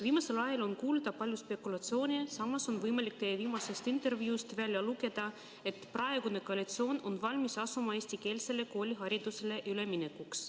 Viimasel ajal on palju kuulda spekulatsioone, samas on võimalik teie viimasest intervjuust välja lugeda, et praegune koalitsioon on valmis asuma eestikeelsele kooliharidusele üle minema.